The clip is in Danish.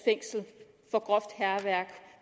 fængsel for groft hærværk